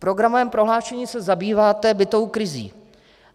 V programovém prohlášení se zabýváte bytovou krizí.